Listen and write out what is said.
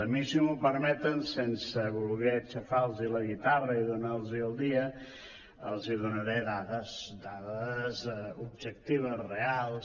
a mi si m’ho permeten sense voler aixafar los la guitarra i donar los el dia els donaré dades dades objectives reals